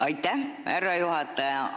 Aitäh, härra juhataja!